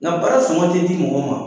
Nka baara sɔngɔ tɛ di mɔgɔ ma